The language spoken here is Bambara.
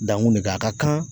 Dan kun de ka a ka kan